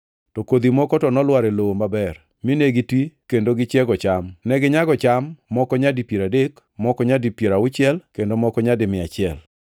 To kodhi moko to nolwar e lowo maber, mine gitwi kendo gichiego cham. Neginyago cham, moko nyadi piero adek, moko nyadi piero auchiel, kendo moko nyadi mia achiel.”